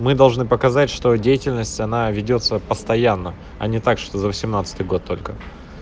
мы должны показать что деятельность она ведётся постоянно а не так что за восемнадцатый год только